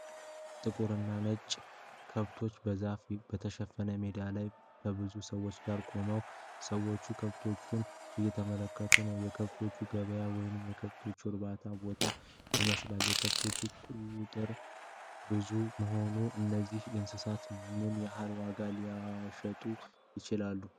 ጥቁር እና ነጭ ከብቶች በዛፍ በተሸፈነ ሜዳ ላይ ከብዙ ሰዎች ጋር ቆመዋል። ሰዎች ከብቶቹን እየተመለከቱ ነው፤ የከብት ገበያ ወይም የከብት እርባታ ቦታ ይመስላል። የከብቶቹ ቁጥር ብዙ መሆኑን ፤ እነዚህ እንስሳት በምን ያህል ዋጋ ሊሸጡ ይችላሉ?